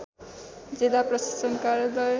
जिल्ला प्रशासन कार्यालय